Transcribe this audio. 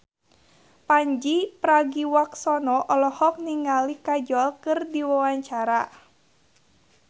Pandji Pragiwaksono olohok ningali Kajol keur diwawancara